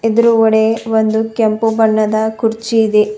ಎದುರುಗಡೆ ಒಂದು ಕೆಂಪು ಬಣ್ಣದ ಕುರ್ಚಿ ಇದೆ.